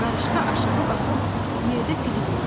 Qarışqa aşağı baxıb yerdə fili gördü.